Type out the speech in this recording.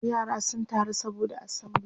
yara sun taru saboda assembly